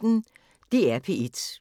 DR P1